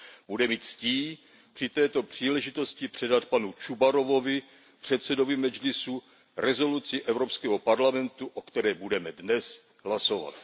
Bude mi ctí při této příležitosti předat panu Čubarovovi, předsedovi Medžlisu, rezoluci Evropského parlamentu, o které budeme dnes hlasovat.